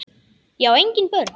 Ég á engin börn!